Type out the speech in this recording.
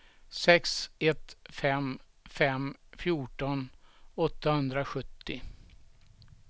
sex ett fem fem fjorton åttahundrasjuttio